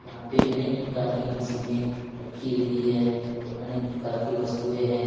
यहां पे अनेक प्रकार की मशीने रखी हुई है और अनेक प्रकार की वस्तुएं हैं।